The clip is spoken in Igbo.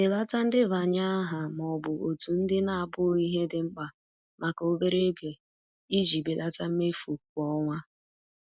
Belata ndebanye aha ma ọ bụ òtù ndị na-abụghị ihe dị mkpa maka obere oge iji belata mmefu kwa ọnwa.